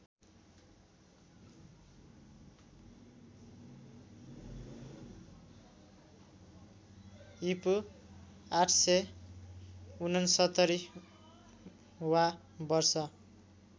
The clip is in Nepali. ईपू ८६९ वा वर्ष